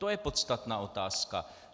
To je podstatná otázka.